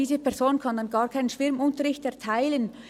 Diese Person kann dann gar keinen Schwimmunterricht erteilen.